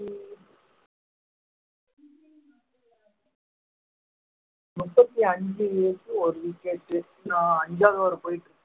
முப்பத்தி ஐந்துக்கு ஒரு wicket ஐந்தாவது over போயிட்டு இருக்கு